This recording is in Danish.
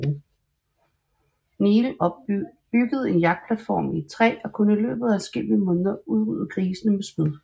Neale byggede en jagtplatform i et træ og kunne i løbet af adskillige måneder udrydde grisene med spyd